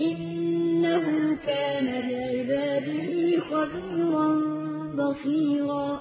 إِنَّهُ كَانَ بِعِبَادِهِ خَبِيرًا بَصِيرًا